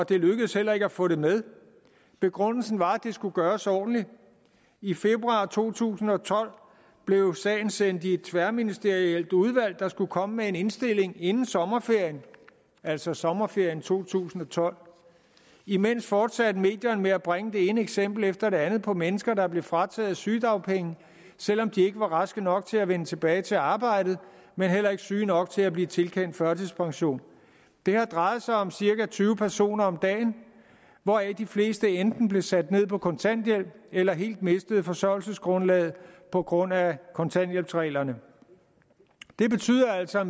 det lykkedes heller ikke at få det med begrundelsen var at det skulle gøres ordentligt i februar to tusind og tolv blev sagen sendt i et tværministerielt udvalg der skulle komme med en indstilling inden sommerferien altså sommerferien to tusind og tolv imens fortsatte medierne med at bringe det ene eksempel efter det andet på mennesker der blev frataget sygedagpenge selv om de ikke var raske nok til at vende tilbage til arbejdet men heller ikke syge nok til at blive tilkendt førtidspension det har drejet sig om cirka tyve personer om dagen hvoraf de fleste enten blev sat ned på kontanthjælp eller helt mistede forsørgelsesgrundlaget på grund af kontanthjælpsreglerne det betyder altså